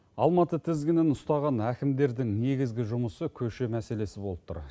алматы тізгінін ұстаған әкімдердің негізгі жұмысы көше мәселесі болып тұр